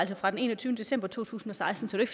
fra den enogtyvende december to tusind og seksten så det